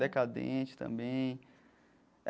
Decadente também.